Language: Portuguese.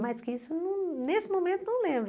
Mas que isso, não nesse momento, não lembro.